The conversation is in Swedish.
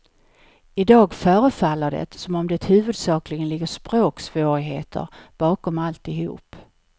I dag förefaller det som om det huvudsakligen ligger språksvårigheter bakom alltihop.